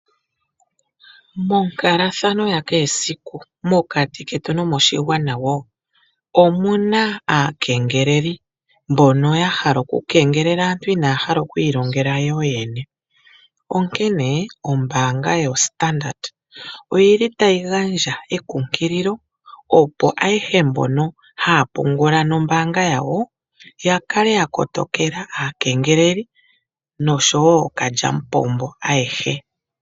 Monkalathano ya kehe esiku mokati ketu nomoshigwana woo omuna aakengeleli mbono ya hala okukengelela aantu inaaya hala okwiilongela yo yene. Onkene ombaanga yoStandard oyi li tayi gandja ekunkililo opo ayehe mbono haya pungula nombaanga yawo ya kale ya kotokela aakengeleli noshowo ookalyamupombo ayehe.